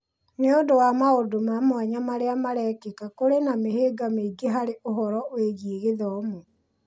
Nĩ ũndũ wa maũndũ ma mwanya marĩa marekĩka, kũrĩ na mĩhĩnga mĩingĩ harĩ ũhoro wĩgiĩ gĩthomo.